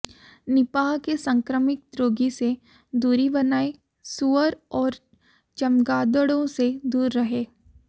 Nipah के संक्रमित रोगी से दूरी बनाए सुअर और चमगादड़ों से दूर रहें